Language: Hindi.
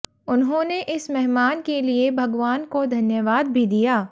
उन्होंने इस मेहमान के लिए भगवान को धन्यवाद भी दिया